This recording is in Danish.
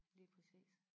lige præcis